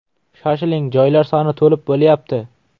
Shoshiling, joylar soni to‘lib bo‘lyapti.